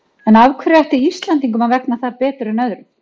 En af hverju ætti Íslendingum að vegna þar betur en öðrum?